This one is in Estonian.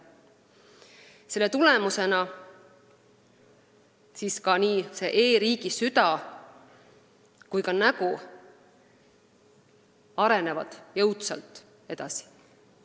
Selle tulemusena arenevad nii e-riigi süda kui ka nägu jõudsalt edasi.